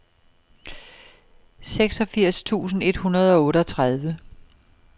seksogfirs tusind et hundrede og otteogtredive